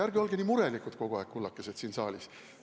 Ärge olge nii murelikud kogu aeg, kullakesed, siin saalis!